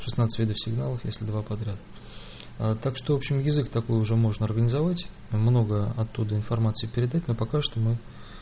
шестнадцать видов сигналов если два подряд так что в общем язык такой уже можно организовать много оттуда информации передать но пока что мы